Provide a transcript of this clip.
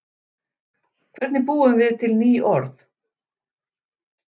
Hvernig búum við til ný orð?